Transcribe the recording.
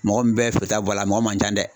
Mɔgɔ min bɛ feere ta bɔ a la, a mɔgɔ man ca dɛ.